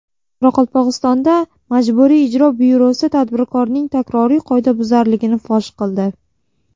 Qoraqalpog‘istonda Majburiy ijro byurosi tadbirkorning takroriy qoidabuzarligini fosh qildi.